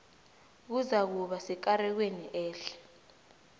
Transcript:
kuzakuba sekarekweni ehle